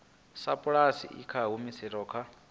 sapulasi i nga humiselwa kha